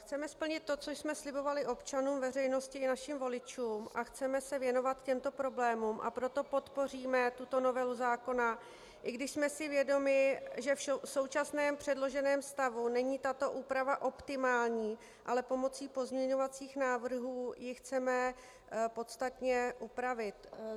Chceme splnit to, co jsme slibovali občanům, veřejnosti i našim voličům, a chceme se věnovat těmto problémům, a proto podpoříme tuto novelu zákona, i když jsme si vědomi, že v současném předloženém stavu není tato úprava optimální, ale pomocí pozměňovacích návrhů ji chceme podstatně upravit.